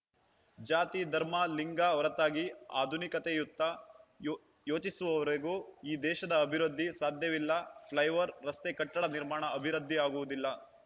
ಜಾತಿ ಧರ್ಮ ಲಿಂಗ ಹೊರತಾಗಿ ಆಧುನಿಕತೆಯತ್ತ ಯೋ ಯೋಚಿಸುವವರೆಗೂ ಈ ದೇಶದ ಅಭಿವೃದ್ಧಿ ಸಾಧ್ಯವಿಲ್ಲ ಫ್ಲೈಓವರ್‌ ರಸ್ತೆ ಕಟ್ಟಡ ನಿರ್ಮಾಣ ಅಭಿವೃದ್ಧಿಯಾಗುವುದಿಲ್ಲ